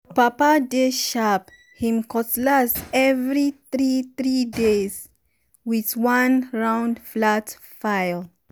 papa dey sharp him cutlass every three three days with one round flat file.